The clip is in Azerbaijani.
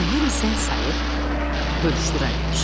Səhər isə sayıb bölüşdürərlər.